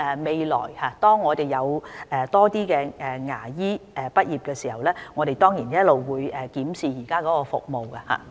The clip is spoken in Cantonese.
未來當我們有更多牙科畢業生的時候，我們當然會檢視現時的服務。